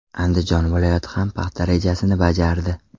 Andijon viloyati ham paxta rejasini bajardi.